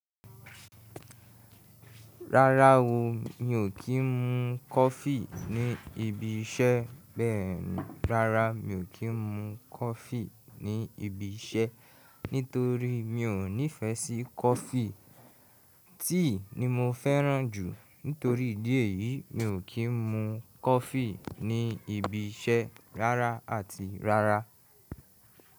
Rárá o, mi ò kí ń mu coffee ní ibi iṣẹ́ bẹ́ẹ̀ni, rárá mi ò kí ń mu coffee ní ibi iṣẹ́ nítorí mi ò nífẹ́ sí coffee. Tea ni mo fẹ́ràn jù. Nítorí ìdí èyí, mi ò kí ń mu coffee ní ibi iṣẹ́ rárá àti rárá.